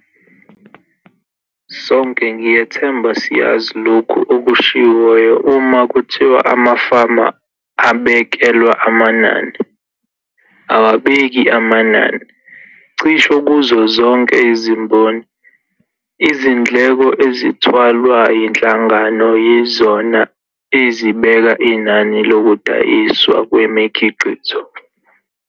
Sonke ngiyethemba siyazi lokhu okushiwoyo uma kuthiwa "amafama abekelwa amanani, awabeki amanani". Cishe kuzo zonke izimboni, izindleko ezithwalwa yinhlangano yizona ezibeka inani lokudayiswa kwemikhiqizo.